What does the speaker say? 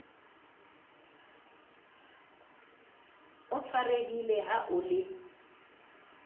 o tshwarehile ha o le